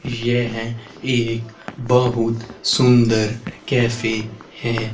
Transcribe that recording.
यह एक बहुत सुंदर कैफे है।